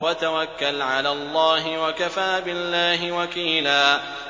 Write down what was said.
وَتَوَكَّلْ عَلَى اللَّهِ ۚ وَكَفَىٰ بِاللَّهِ وَكِيلًا